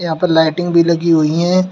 यहां पर लाइटिंग भी लगी हुई है।